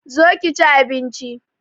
Zo ki chi abinchi